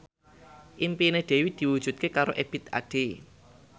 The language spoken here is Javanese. impine Dewi diwujudke karo Ebith Ade